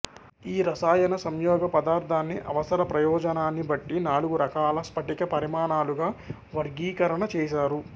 ఈ రసాయన సంయోగ పదార్థాన్ని అవసర ప్రయోజనాన్ని బట్టి నాలుగురకాల స్పటిక పరిమాణాలుగా వర్గీకరణచేసారు